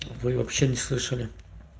вы вообще не слышали